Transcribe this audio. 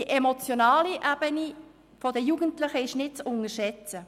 Die emotionale Ebene ist bei den Jugendlichen nicht zu unterschätzen.